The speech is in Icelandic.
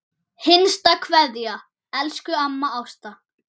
HINSTA KVEÐJA Elsku amma Ásta.